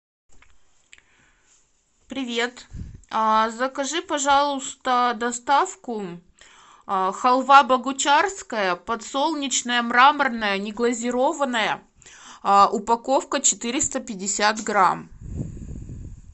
привет закажи пожалуйста доставку халва богучарская подсолнечная мраморная неглазированная упаковка четыреста пятьдесят грамм